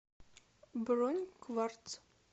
бронь кварц